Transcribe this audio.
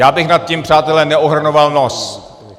Já bych nad tím, přátelé, neohrnoval nos.